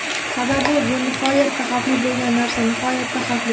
Sababi bu nihoyatda xavfli bo‘lgan narsa, nihoyatda xavfli.